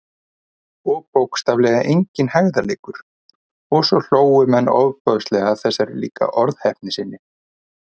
Og bókstaflega enginn hægðarleikur- og svo hlógu menn ofboðslega að þessari líka orðheppni sinni.